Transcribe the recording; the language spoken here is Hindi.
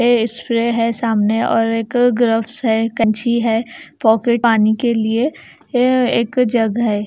ये स्प्रे है सामने और एक ग्रॉप्स है। कंची है। पानी के लिए ये एक जग है।